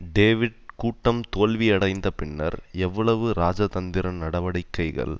David கூட்டம் தோல்வியடைந்த பின்னர் எவ்வளவு ராஜ தந்திர நடவடிக்கைகள்